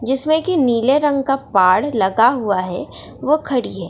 जिसमें की नीले रंग का पाड़ लगा हुआ है वो खड़ी है ।